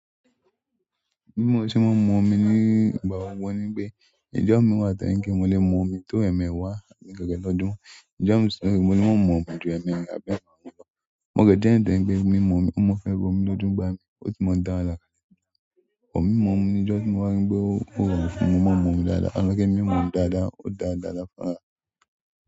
Bì mò sè ń mú omi nígbà ọwọ́ wọ́n ní bẹ, ìjọ mi wà tò jẹ pè mò lè mú omi tó ẹ̀mẹẹ̀wá ní gẹ́gẹ́ lọ́dún. Ìjọ mi sọ wípé mo ní mọ̀ mú omi ju ẹ̀mẹẹ̀wá bẹ́ẹ̀ máa ń lọ. Mo gẹ̀jẹ̀ tán pé mímú omi, mo fẹ́ gba omi lójú gbá mi, ó sì mọ dára lálẹ́ yìí. Òmì mí mú omi níjọ́ tí mo wá nígbè o rọrùn fún mi mọ̀ mú omi dáadáa. Lókè mí mú omi dáadáa, ó dára dára fún àrà.